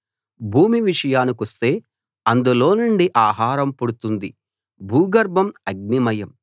భూమి విషయానికొస్తే అందులోనుండి ఆహారం పుడుతుంది భూగర్భం అగ్నిమయం